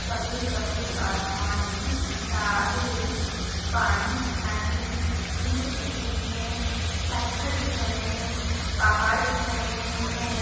सफ़ेद सफ़ेद आसमान भी दिख रहा है पानी दिख रहा है ईंट दिख रही है पत्थर दिख रहे है पहाड़ दिख रहे है।